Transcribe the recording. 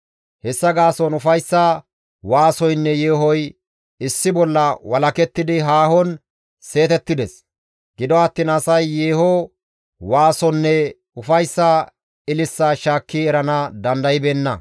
Hessa gaason ufayssa waasoynne yeehoy issi bolla walakettidi haahon seetettides; gido attiin asay yeeho waasonne ufayssa ililisaa shaakki erana dandaybeenna.